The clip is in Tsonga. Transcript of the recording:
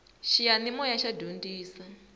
xiyanimoya xa dyondzisa